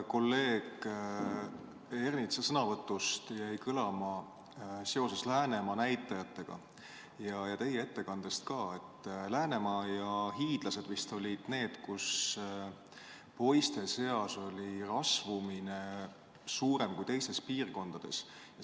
Kolleeg Ernitsa sõnavõtust ja ka teie ettekandest jäi kõlama seoses Läänemaa näitajatega, et Läänemaa ja Hiiumaa vist olid need, kus poiste seas oli rasvumine suurem kui teistes piirkondades.